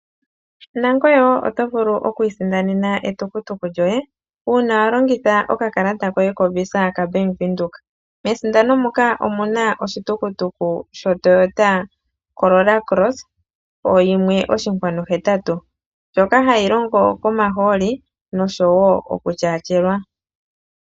Nangoye wo oto vulu oku isindanena etukutuku lyoye uuna wa longitha okakalata koye koVisa kaBank Windhoek. Mesindano muka omu na oshitukutuku shoToyota Corolla Cross oyimwe oshinkwanu hetatu ndjoka hayi longo komahooli noshowo oku tyaatyelwa.